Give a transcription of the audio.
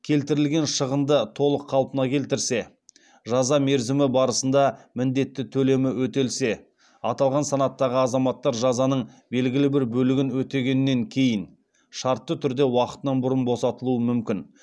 келтірілген шығынды толық қалпына келтірсе жаза мерзімі барысында міндетті төлемі өтелсе аталған санаттағы азаматтар жазаның белгілі бір бөлігін өтегеннен кейін шартты түрде уақытынан бұрын босатылуы мүмкін